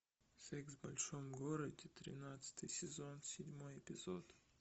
секс в большом городе тринадцатый сезон седьмой эпизод